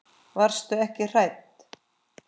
Varstu ekki hrædd?